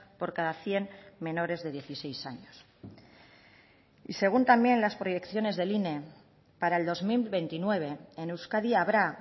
por cada cien menores de dieciséis años y según también las proyecciones del ine para el dos mil veintinueve en euskadi habrá